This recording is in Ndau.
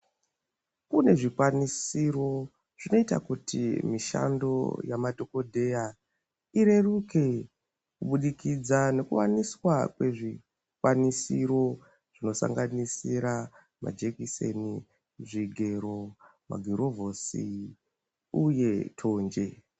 Kune zvikwanisiro zvinoita kuti mishando yamadhokodheya ireruke kuburikidza ngekuwaniswa kwezvikwanisiro, zvinosanganisira majekiseni, zvigero, magirovhosi, uye thonje.